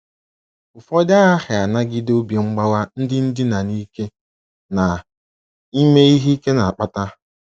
Ụfọdụ aghaghị ịnagide obi mgbawa ndị ndina n’ike na ime ihe ike na - akpata.